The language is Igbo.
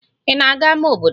Ị na-aga ámá obodo?